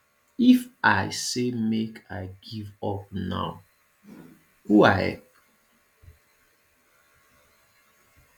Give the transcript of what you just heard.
if i say make i give up now who i help